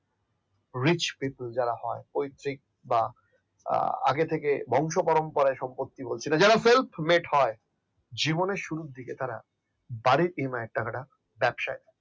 rich people যারা হয় আগে থেকে বংশপরম্পরায় সম্পত্তি বলছিলেন যারা self made জীবনে শুরুর দিকে তারা বাড়ির EMI এর টাকাটা টাকাটা ব্যবসায় লাগায়